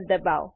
દબાઓ